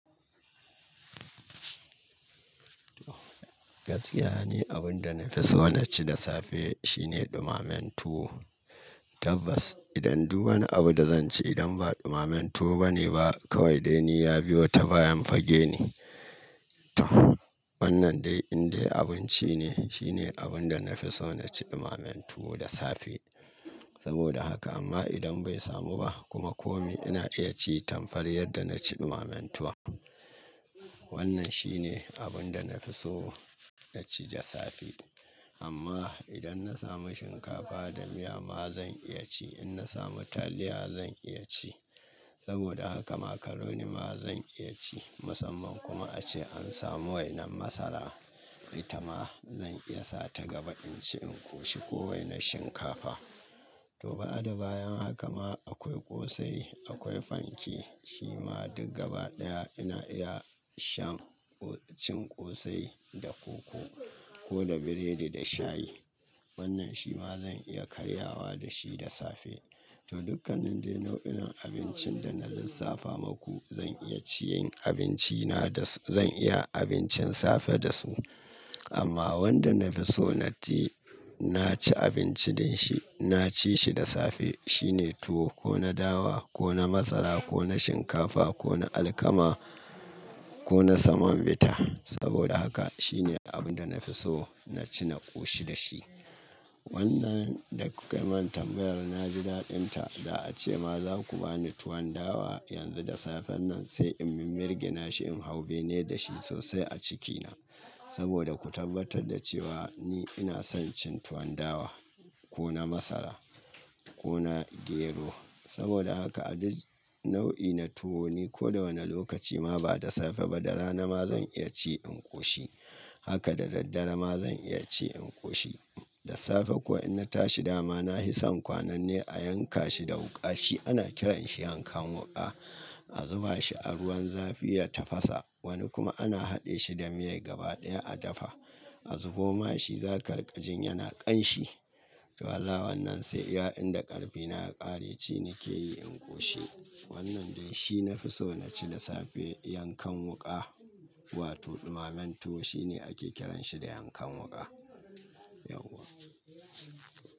Gaskiya, ni abun da na fi so na ci da safe shine ɗumamen tuwo. Tabbas, idan duk wani abu da zan ci idan ba ɗumamen tuwo ba ne ba kawai dai ni ya biyo ta bayan fage ne. Wannan dai indai abun ci ne, shi ne abun da na fi so na ci ɗumamen tuwo da safe. Saboda haka, amma idan bai samu ba, kuma kome ina iya ci tamfar yadda na ci ɗumamen tuwon Wannan shi ne abin da na fi so na ci da safe. Amma idan na samu shinkafa da miya ma zan iya ci. In na samu taliya zan iya ci. Saboda haka macaroni ma zan iya ci. Musamman kuma ace an samu wainan masara, ita ma zan iya sa ta gaba in ci in koshi ko wainar shinkafa. To ba'ada bayan haka ma, akwai ƙosai, akwai fanke, Shi ma duk gaba ɗaya ina iya shan, cin ƙosai da koko, ko da biredi da shayi. Wannan shi ma zan iya karyawa da shi da safe. To dukkanin dai nau'inan abincin da na lissafa maku, zan iya ciyin abinci na da su, zan iya abincin safe da su. Amma wanda na fi so na ci, na ci abinci da shi, na ci shi da safe, shine tuwo ko na dawa, ko na masara, ko na shinkafa, ko na alkama, ko na saman bita. Saboda haka, shi ne abun da na fi so na ci, na ƙoshi da shi. Wannan, da kuka yi min tambayar na ji daɗin ta. Da ace ma za ku ba ni tuwon dawa yanzu da safen nan sai in min-mirginashi in hau bene da shi sosai a cikina. Saboda ku tabbatar da cewa ni ina son cin tuwon dawa ko na masara ko na gero. Saboda haka a duk nau'i na tuwo ni ko da wane lokaci ma ba da safe ba da rana ma zan iya ci in ƙoshi. Haka da daddare ma zan iya ci in ƙoshi. Da safe ko in na tashi dama na hi san kwanan ne a yanka shi da wuƙa, shi ana kiran shi yankan wuƙa, A zuba shi a ruwan zafi ya tafasa. Wani kuma ana haɗe shi da miyar gaba ɗaya a dafa. A zubo ma shi zaƙa riƙajin yana ƙanshi to ala wannan sai iya inda ƙarfina ya ƙare ci nike yi in ƙoshi. Wannan dai shi na fi so na ci da safe yankan wuƙa. Wato dumamen tuwo, shi ne ake kiran shi da yankan wuƙa. Yauwa.